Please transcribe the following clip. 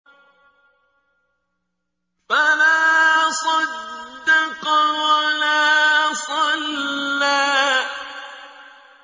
فَلَا صَدَّقَ وَلَا صَلَّىٰ